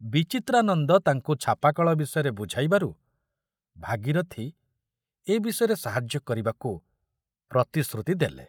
ବିଚିତ୍ରାନନ୍ଦ ତାଙ୍କୁ ଛାପାକଳ ବିଷୟରେ ବୁଝାଇବାରୁ ଭାଗୀରଥ ଏ ବିଷୟରେ ସାହାଯ୍ୟ କରିବାକୁ ପ୍ରତିଶ୍ରୁତି ଦେଲେ।